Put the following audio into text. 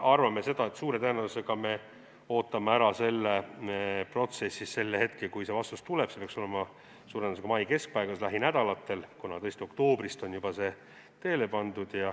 Me suure tõenäosusega ootame ära protsessis selle hetke, kui see vastus tuleb, see peaks olema mai keskpaigas, lähinädalatel, kuna tõesti on juba oktoobris see teele pandud.